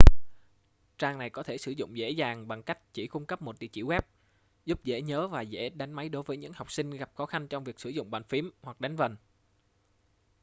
trang này có thể sử dụng dễ dàng bằng cách chỉ cung cấp một địa chỉ web giúp dễ nhớ và dễ đánh máy đối với những học sinh gặp khó khăn trong việc sử dụng bàn phím hoặc đánh vần